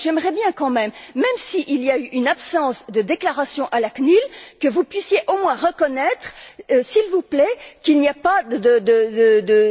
Alors j'aimerais bien, même s'il y a eu une absence de déclaration à la CNIL, que vous puissiez au moins reconnaître, s'il vous plaît, qu'il n'y a pas de...